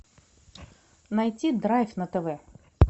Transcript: найти драйв на тв